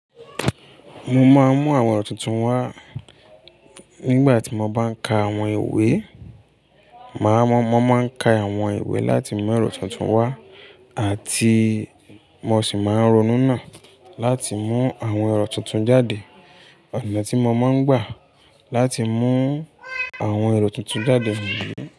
Mo máa ń mú àwọn ẹ̀rọ tuntun wá nígbà tí mo bá ń ka àwọn ìwé. Màá mọ̀, mo máa ń ka àwọn ìwé láti mú èrò tuntun wá àti mo sì máa ń ronú náà láti mú àwọn èrò tuntun jáde. Ọ̀nà tí mo máa ń gbà láti mú àwọn èrò tuntun jáde niyi.